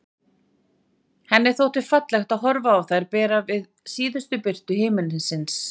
Henni þótti fallegt að horfa á þær bera við síðustu birtu himinsins.